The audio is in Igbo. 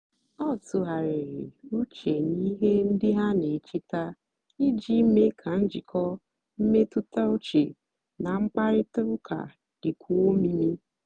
ọ tụ̀ghàrị̀rì ùchè n'ihe ndí ha na-èchétà ijì meé kà njikọ́ mmètụ́tà ùchè na mkpáịrịtà ụ́ka dị́kwúó òmiimí.